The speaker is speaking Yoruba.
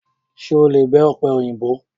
Ṣé o lè bẹ ọ̀pẹ òyìnbó?